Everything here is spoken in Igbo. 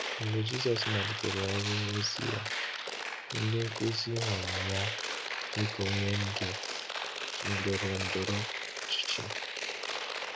Mgbe Jisọs malitere ọrụ ozi Ya, ndị nkuzi hụrụ Ya dịka onye ndú ndọrọndọrọ ọchịchị.